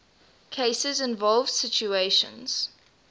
cases involve situations